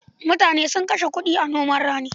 Mutane sun kashe kuɗi a noman rani.